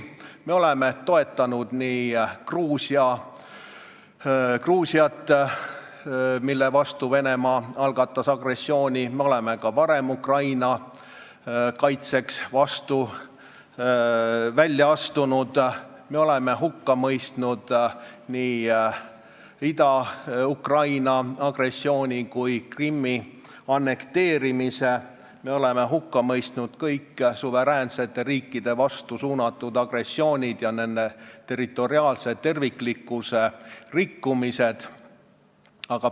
Me oleme toetanud Gruusiat, mille vastu Venemaa algatas agressiooni, me oleme ka varem Ukraina kaitseks välja astunud, me oleme hukka mõistnud nii agressiooni Ida-Ukrainas kui ka Krimmi annekteerimise, me oleme hukka mõistnud kõik suveräänsete riikide vastu suunatud agressioonid ja nende territoriaalse terviklikkuse rikkumised.